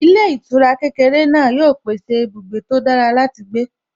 Ilé ìtura kékeré náà yóò ṣe pèsè ibùgbé tó dára láti gbé